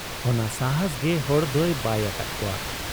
ᱚᱱᱟ ᱥᱟᱦᱟᱸᱥ ᱜᱮ ᱦᱚᱲᱫᱚᱭ ᱵᱟᱹᱭ ᱟᱠᱟᱫ ᱠᱚᱣᱟ ᱾